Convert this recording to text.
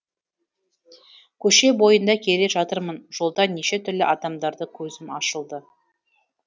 көше бойында келе жатырмын жолда неше түрлі адамдарды көзім